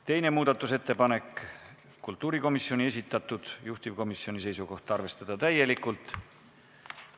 Teine muudatusettepanek on kultuurikomisjoni esitatud, juhtivkomisjoni seisukoht on arvestada täielikult.